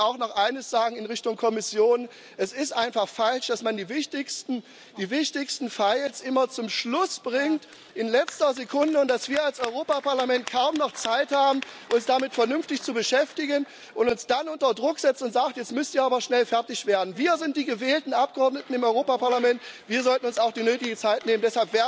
Und ich möchte auch noch eines sagen in Richtung Kommission Es ist einfach falsch, dass man die wichtigsten files immer zum Schluss bringt, in letzter Sekunde, und dass wir als Europäisches Parlament kaum noch Zeit haben, uns damit vernünftig zu beschäftigen, und dass man uns dann unter Druck setzt und sagt Jetzt müsst ihr aber schnell fertig werden. Wir sind die gewählten Abgeordneten im Europäischen Parlament. Wir sollten uns auch die nötige Zeit nehmen.